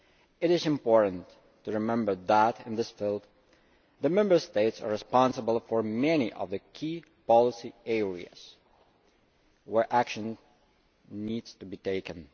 It is important to remember that, in this field, the Member States are responsible for many of the key policy areas where action needs to be taken.